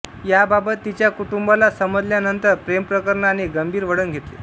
याबाबत तिच्या कुटुंबाला समजल्यानंतर प्रेमप्रकरणाने गंभीर वळण घेतले